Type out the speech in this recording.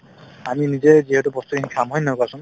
আমি নিজেই যিহেতু বস্তুখিনি খাম হয় নে নহয় কোৱাচোন